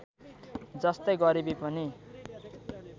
जस्तै गरिबी पनि